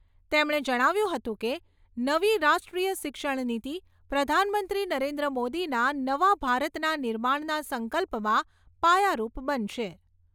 તેમણે જણાવ્યું હતું કે, નવી રાષ્ટ્રીય શિક્ષણ નીતિ પ્રધાનમંત્રી નરેન્દ્ર મોદીના નવા ભારતના નિર્માણના સંકલ્પમાં પાયારૂપ બનશે.